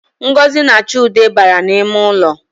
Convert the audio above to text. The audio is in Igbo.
Ngozi na Chude bara n’ime ụlọ